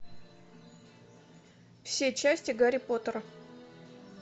все части гарри поттера